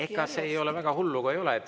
Ega see väga hull ka ei ole.